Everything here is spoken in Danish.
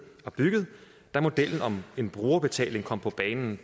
og bygget da modellen om en brugerbetaling kom på banen